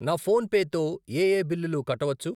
నా ఫోన్ పే తో ఏయే బిల్లులు కట్టవచ్చు?